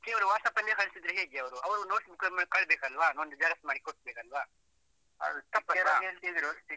ಕೇವಲ WhatsApp ಅಲ್ಲಿ ಕಳಿಸಿದ್ರೆ ಹೇಗೆ ಅವರು, ಅವರು notes book ಅಲ್ಲಿ ಕಳಿಸ್ಬೇಕಲ್ಲಾ, ಒಂದು xerox ಮಾಡಿ ಕೊಡ್ಬೇಕಲ್ವಾ